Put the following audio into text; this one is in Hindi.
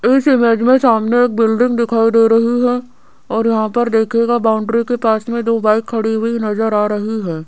इस इमेज में सामने एक बिल्डिंग दिखाई दे रही है और यहां पर देखिएगा बाउंड्री के पास में दो बाइक खड़ी हुई नजर आ रही है।